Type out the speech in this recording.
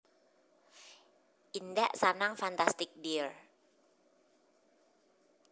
Indak Sanang Fantastic dear